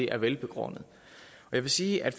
er velbegrundet jeg vil sige at